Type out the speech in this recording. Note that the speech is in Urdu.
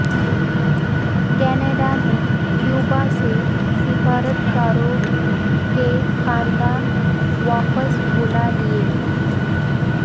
کینیڈا نے کیوبا سے سفارتکاروں کے خاندان واپس بلا لئے